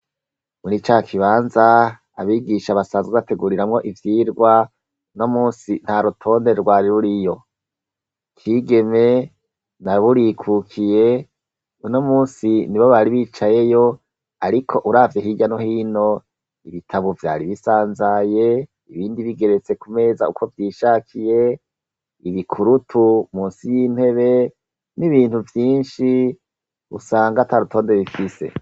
Muri ca kibanza abigisha basanzwe bateguriramwo ivyirwa no musi nta rutonde rwari ruri yo kigeme naburikukiye uno musi ni bo bari bicayeyo, ariko uravye hirya no hino ibitabo vyari bisanzaye ibindi bigeretsekume meza uko vyishakiye ibikurutu musi y'intebe n'ibintu vyinshi usanga ata rutonde bifise.